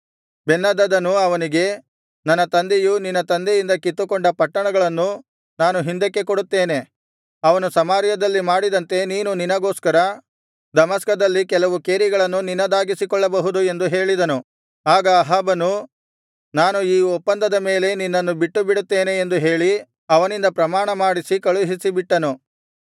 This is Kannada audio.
ಬೆನ್ಹದದನು ಅವನಿಗೆ ನನ್ನ ತಂದೆಯು ನಿನ್ನ ತಂದೆಯಿಂದ ಕಿತ್ತುಕೊಂಡ ಪಟ್ಟಣಗಳನ್ನು ನಾನು ಹಿಂದಕ್ಕೆ ಕೊಡುತ್ತೇನೆ ಅವನು ಸಮಾರ್ಯದಲ್ಲಿ ಮಾಡಿದಂತೆ ನೀನು ನಿನಗೋಸ್ಕರ ದಮಸ್ಕದಲ್ಲಿ ಕೆಲವು ಕೇರಿಗಳನ್ನು ನಿನ್ನದಾಗಿಸಿಕೊಳ್ಳಬಹುದು ಎಂದು ಹೇಳಿದನು ಆಗ ಅಹಾಬನು ನಾನು ಈ ಒಪ್ಪಂದದ ಮೇಲೆ ನಿನ್ನನ್ನು ಬಿಟ್ಟುಬಿಡುತ್ತೇನೆ ಎಂದು ಹೇಳಿ ಅವನಿಂದ ಪ್ರಮಾಣ ಮಾಡಿಸಿ ಕಳುಹಿಸಿಬಿಟ್ಟನು